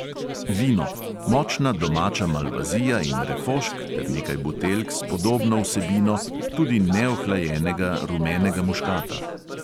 Vino: močna domača malvazija in refošk ter nekaj buteljk s podobno vsebino, tudi neohlajenega rumenega muškata.